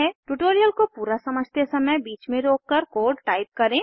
tutorial को पूरा समझते समय बीच में रोककर कोड टाइप करें